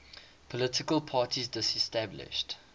political parties disestablished